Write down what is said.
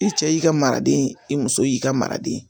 I cɛ y'i ka maraden i muso y'i ka maraden ye